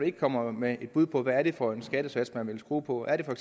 ikke kommer med et bud på hvad det er for en skattesats man vil skrue på er det for